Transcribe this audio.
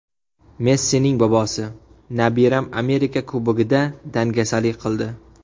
Messining bobosi: Nabiram Amerika Kubogida dangasalik qildi.